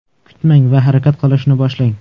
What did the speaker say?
Kutmang va harakat qilishni boshlang!